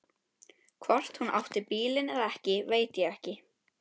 Hvort hún átti bílinn eða ekki veit ég ekki.